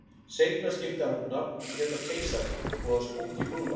Seinna skipti hann um nafn og hét þá Keisarinn, voða spúkí búlla.